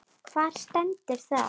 Hvar stendur það?